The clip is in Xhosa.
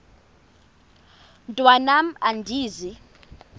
mntwan am andizi